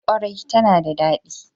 ƙwarai tana da daɗi.